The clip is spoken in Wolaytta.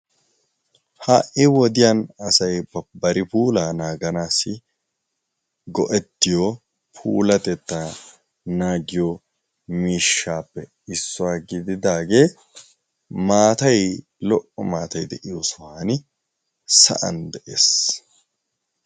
ha''i wodiyan asay bari puulaa naaganaassi go''ettiyo puulatettaa naagiyo miishshaappe issuwaa gididaagee maatai lo''o maatay de'iyo sohan sa'an de'ees